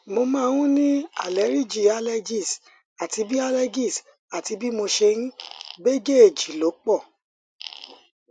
mo máa ń ní àleríjì allergies àti bí allergies àti bí mo ṣe ń bíjèjì ló pọ